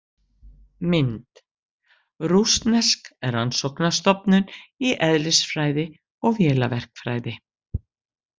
Mynd: Rússnesk rannsóknarstofnun í eðlisfræði og vélaverkfræði.